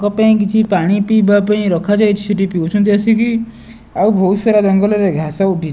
ତାଙ୍କ ପାଇଁ କିଛି ପାଣି ପିଇବା ପାଇଁ ରଖା ଯାଇଚି ସେଠି ପିଉଚନ୍ତି ଆସିକି ଆଉ ବୋହୁତ ସାରା ଜଙ୍ଗଲ ରେ ଘାସ ଉଠିଚି ।